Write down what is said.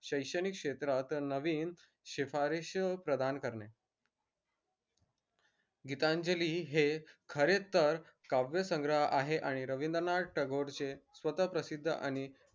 शैक्षणिक क्षेत्रात नवीन शिफारीश प्रदान करणे गीतांजली हे खरेतर काव्यसंग्रह आहे आणि रविंद्रनाथ टागोर चे स्वत प्रसिद्ध आणि